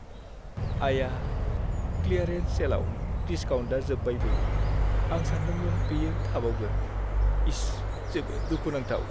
आया! क्लियारेन्स सेलाव डिसकाउन्टआ जोबबायबो। आं सान्दोंमोन बेयो थाबावगोन, इस! जोबोद दुखुनांथाव!